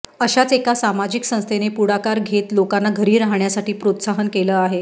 अशाच एका सामाजिक संस्थेने पुढाकार घेत लोकांना घरी राहण्यासाठी प्रोत्साहन केलं आहे